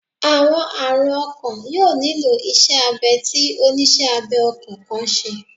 Awọn arun ọkan yoo nilo iṣẹ abẹ ti oniṣẹ abẹ ọkan kan ṣe